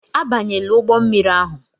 Abanyela ụgbọ mmiri ahụ!